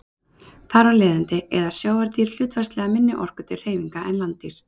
Þar af leiðandi eyða sjávardýr hlutfallslega minni orku til hreyfinga en landdýr.